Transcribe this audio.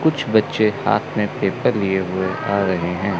कुछ बच्चे हाथ में पेपर लिए हुए आ रहे हैं।